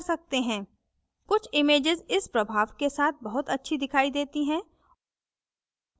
कुछ images इस प्रभाव के साथ बहुत अच्छी दिखाई देती हैं